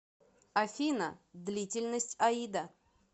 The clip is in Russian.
афина длительность аида